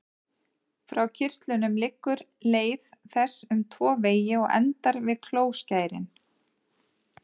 Frá kirtlunum liggur leið þess um tvo vegi og endar við klóskærin.